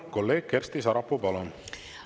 Kolleeg Kersti Sarapuu, palun!